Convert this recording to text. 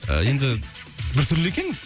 енді бір түрлі екен